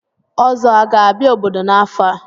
Ozo a ga-abia obodo n'afo a?